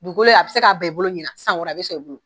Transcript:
Dugukolo in a bi se k'a ban i bolo ɲinan san wɛrɛ a be sɔn i bolo